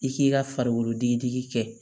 I k'i ka farikolo dege digi kɛ